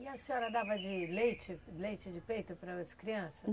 E a senhora dava de leite, leite de peito para as crianças?